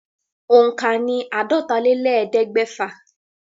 Òǹkà ní àádọ́tálélẹ́ẹ̀ẹ́dẹ́gbẹ́fà.